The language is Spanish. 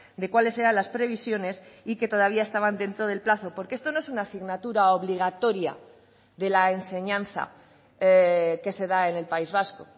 de cuáles eran las previsiones y que todavía estaban dentro del plazo porque esto no es una asignatura obligatoria de la enseñanza que se da en el país vasco